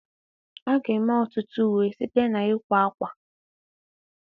A ga-eme ọtụtụ uwe site na ịkwa akwa